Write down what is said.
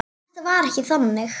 Þetta var ekki þannig.